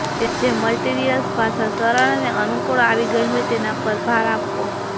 તેમને જે મટીરીયલ્સ ભાષા સરળ અને અનુકુળ આવી ગઇ હોય તેના પર ભાર આપવો